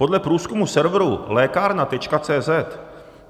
Podle průzkumu serveru lekarna.cz